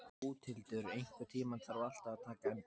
Bóthildur, einhvern tímann þarf allt að taka enda.